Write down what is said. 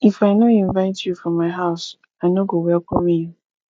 if i no invite you for my house i no go welcome you